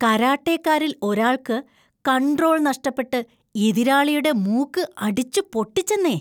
കരാട്ടെക്കാരിൽ ഒരാൾക്ക് കൺട്രോൾ നഷ്ടപ്പെട്ട് ,എതിരാളിയുടെ മൂക്ക് അടിച്ചു പൊട്ടിച്ചെന്നേ.